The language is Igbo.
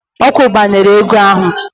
Ọ kwụbara ego ahụ!